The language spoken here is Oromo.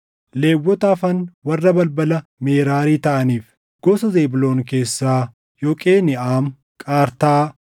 Lewwota hafan warra balbala Meraarii taʼaniif: gosa Zebuuloon keessaa, Yoqeniʼaam, Qartaa,